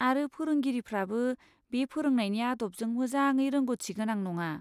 आरो फोरोंगिरिफ्राबो बे फोरोंनायनि आदबजों मोजाङै रोंग'थिगोनां नङा।